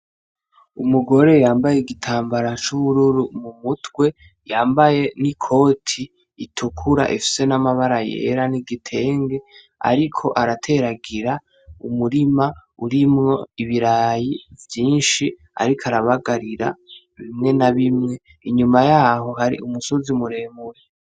Umugore yambaye igitambara c'ubururu mumutwe, yambaye n'ikoti itukura ifise n'amabara yera, afise n'igitenge ariko arateragira umurima urimwo ibirayi vyinshi, ariko arabagarira bimwe na bimwe inyuma yaho hari umusozi muremure.